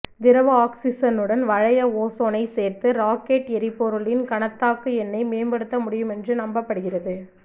திரவ ஆக்சிசனுடன் வளைய ஓசோனைச் சேர்த்து ராக்கெட்டு எரிபொருளின் கணத்தாக்கு எண்ணை மேம்படுத்த முடியுமென்றும் நம்பப்படுகிறது